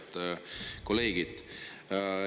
Head kolleegid!